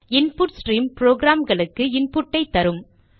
input stream ப்ரோக்ராம்களுக்கு இன்புட்டை தரும்